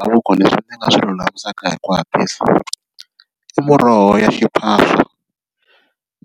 leswi ndzi nga swi lulamisaka hi ku hatlisa i muroho ya xiphawo